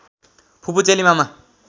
फुपू चेली मामा